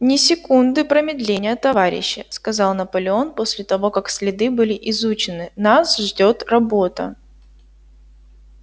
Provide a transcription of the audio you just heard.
ни секунды промедления товарищи сказал наполеон после того как следы были изучены нас ждёт работа